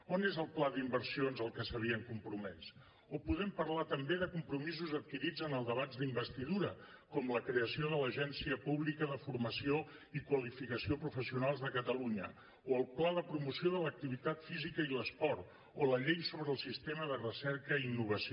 on és el pla d’inversions al que s’havien compromès o podem parlar també de compromisos adquirits en el debat d’investidura com la creació de l’agència pública de formació i qualificació professionals de catalunya o el pla de promoció de l’activitat física i l’esport o la llei sobre el sistema de recerca i innovació